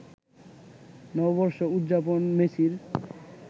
নববর্ষ উদযাপন মেসির